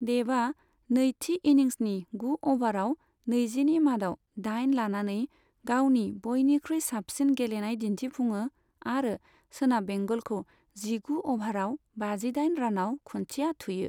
देबआ नैथि इनिंसनि गु अभाराव नैजिनि मादाव दाइन लानानै गावनि बयनिख्रुइ साबसिन गेलेनाय दिन्थिफुङो आरो सोनाब बेंगलखौ जिगु अभाराव बाजिदाइन रानआव खुन्थिया थुयो।